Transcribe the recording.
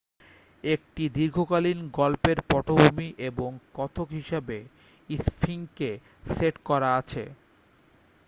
একটি দীর্ঘকালীন গল্পের পটভূমি এবং কথক হিসাবে স্ফিংসকে সেট করা আছে